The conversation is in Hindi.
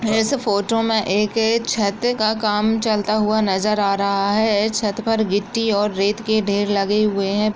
इस फोटो में एक छत का काम चलता हुआ नजर आ रहा है छत पर गिट्टी और रेत के ढेर लगे हुए--